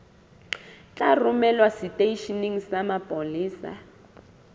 tla romelwa seteisheneng sa mapolesa